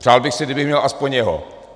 Přál bych si, kdybych měl aspoň jeho.